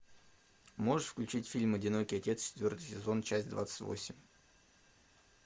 можешь включить фильм одинокий отец четвертый сезон часть двадцать восемь